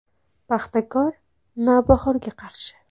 “Paxtakor” “Navbahor”ga qarshi.